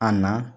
A na